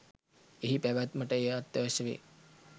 එහි පැවැත්මට එය අත්‍යවශ්‍ය වේ